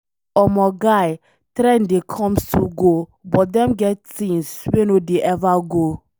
Omo guy, trend dey come still go but dem get things wey no dey ever go.